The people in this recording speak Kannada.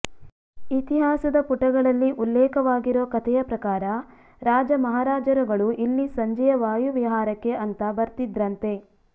ಇತಿಹಾಸದ ಪುಟಗಳಲ್ಲಿ ಉಲ್ಲೇಖವಾಗಿರೋ ಕಥೆಯ ಪ್ರಕಾರ ರಾಜ ಮಹಾರಾಜರುಗಳು ಇಲ್ಲಿ ಸಂಜೆಯ ವಾಯುವಿಹಾರಕ್ಕೆ ಅಂತಾ ಬರ್ತಿದ್ರಂತೆ